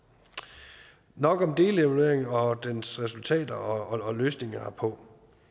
nok om delevaluering og dens resultater og løsninger herpå